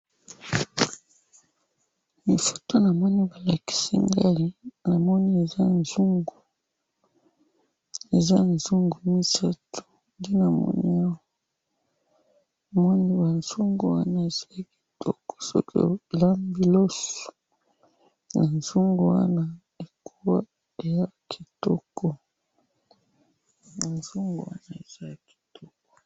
Foto namoni balakisi ngayi, namoni eza nzungu, eza nzungu misatu, nde namoni awa, namoni banzungu wana ezali kitoko soki olambi loso na nzungu wana eko, eza kitoko, ba nzungu wana eza kitoko.